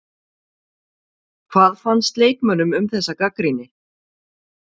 Hvað fannst leikmönnum um þessa gagnrýni?